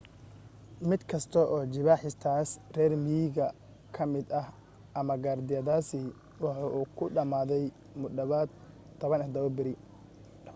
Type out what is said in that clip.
mid kasta oo jibaaxistaas reer miyiga ka mid ah ama gaardiyadaasi waxa uu ku dhamaaday mu dhawaad 17 beri